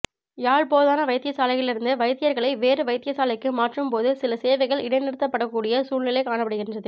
யாழ் போதனா வைத்தியசாலையிலிருந்து வைத்தியர்களை வேறு வைத்தியசாலைக்கு மாற்றும் போது சில சேவைகள் இடைநிறுத்த படக் கூடிய சூழ்நிலை காணப்படுகின்றது